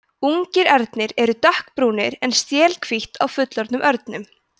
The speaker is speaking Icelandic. ungir ernir eru dökkbrúnir en stél hvítt á fullorðnum örnum